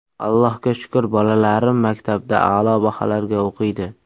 Allohga shukr, bolalarim maktabda a’lo baholarga o‘qiydi.